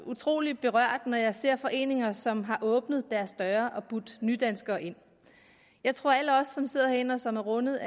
utrolig berørt når jeg ser foreninger som har åbnet deres døre og budt nydanskere ind jeg tror at alle os som sidder herinde og som er rundet